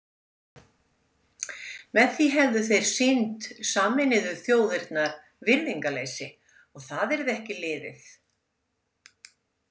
Með því hefðu þeir sýnt Sameinuðu þjóðirnar virðingarleysi og það yrði ekki liðið.